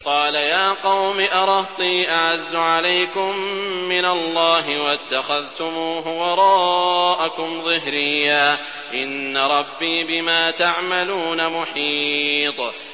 قَالَ يَا قَوْمِ أَرَهْطِي أَعَزُّ عَلَيْكُم مِّنَ اللَّهِ وَاتَّخَذْتُمُوهُ وَرَاءَكُمْ ظِهْرِيًّا ۖ إِنَّ رَبِّي بِمَا تَعْمَلُونَ مُحِيطٌ